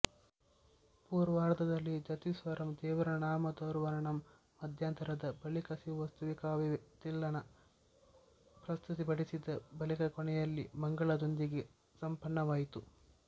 ಪೂರ್ವಾರ್ಧದಲ್ಲಿ ಜತಿಸ್ವರಂ ದೇವರನಾಮದಾರುವರ್ಣಂ ಮಧ್ಯಾಂತರದ ಬಳಿಕಶಿವಸ್ತುತಿಕಾವ್ಯತಿಲ್ಲಾನ ಪ್ರಸ್ತುತಿಪಡಿಸಿದ ಬಳಿಕಕೊನೆಯಲ್ಲಿ ಮಂಗಳದೊಂದಿಗೆ ಸಂಪನ್ನವಾಯಿತು